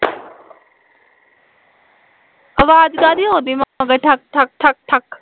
ਆਵਾਜ਼ ਕਾਹਦੀ ਆਉਂਦੀ ਪਿੱਛੇ ਠਕ ਠਕ ਠਕ